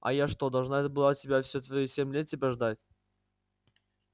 а я что должна была тебя все твои семь лет тебя ждать